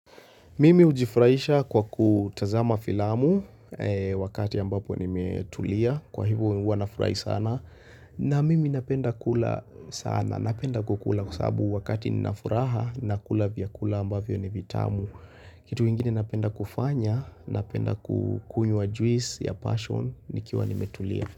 Mimi ujifurahisha kwa kutazama filamu wakati ambapo nimetulia kwa hivo huwanafurahi sana na mimi napenda kula sana napenda kukula kwa sababu wakati ninafuraha nakula vyakula ambavyo ni vitamu kitu ingine napenda kufanya napenda kukunywa juice ya passion nikiwa nimetulia.